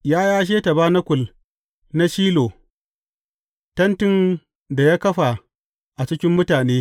Ya yashe tabanakul na Shilo, tentin da ya kafa a cikin mutane.